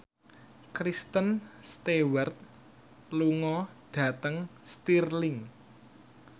Kristen Stewart lunga dhateng Stirling